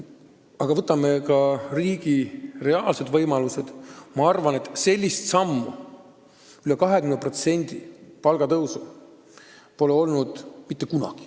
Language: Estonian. Aga kuna on arvestatud ka riigi reaalseid võimalusi, siis sellist hüpet – üle 20% palgatõusu – pole olnud mitte kunagi.